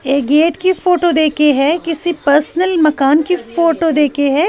ये गेट की फोटो देखी है किसी पर्सनल मकान की फोटो देखे हैं।